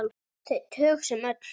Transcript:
Þau tög sem öll.